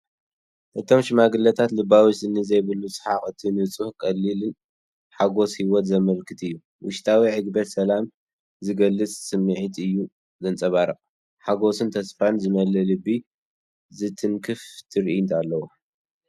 እቶም ሽማግለታት ልባዊ ስኒ ዘይብሉ ሰሓቕ ነቲ ንጹህን ቀሊልን ሓጐስ ህይወት ዘመልክት እዩ። ውሽጣዊ ዕግበትን ሰላምን ዚገልጽ ስምዒት እዩ ዜንጸባርቕ። ሓጐስን ተስፋን ዝመልአ ልቢ ዝትንክፍ ትርኢት ኣለዎም።